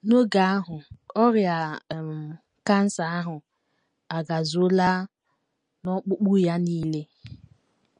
N’oge ahụ, ọrịa um cancer ahụ agazuola n’ọkpụkpụ ya nile.